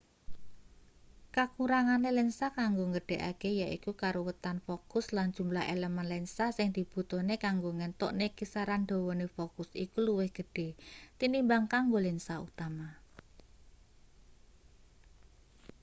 kakurangane lensa kanggo nggedhekake yaiku karuwetan fokus lan jumlah elemen lensa sing dibutuhne kanggo ngentukne kisaran dawane fokus iku luwih gedhe tinimbang kanggo lensa utama